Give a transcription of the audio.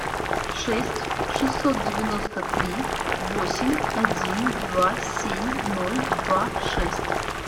шесть шестьсот девяносто три восемь один два семь ноль два шесть